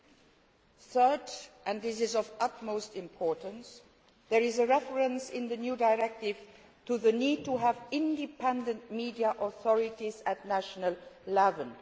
Thirdly, and this is of utmost importance, there is a reference in the new directive to the need to have independent media authorities at national level.